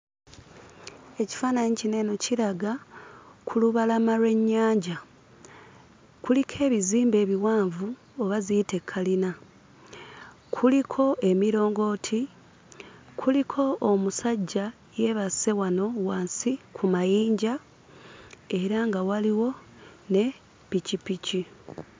Ekifaananyi kino eno kiraga ku lubalama lw'ennyanja. Kuliko ebizimbe ebiwanvu oba ziyite kalina, kuliko emirongooti, kuliko omusajja yeebase wano wansi ku mayinja era nga waliwo ne pikipiki.